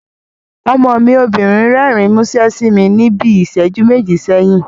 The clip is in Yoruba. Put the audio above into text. Ọmọ mi obìnrin rẹ́rìn múṣẹ́ sí mi níbi ìsẹ́jú méjì sẹ́yìn